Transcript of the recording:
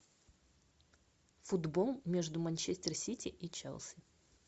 футбол между манчестер сити и челси